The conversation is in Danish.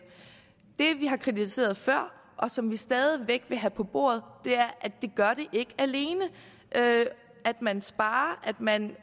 det vi har kritiseret før og som vi stadig væk vil have på bordet er at det gør det ikke alene at man sparer og at man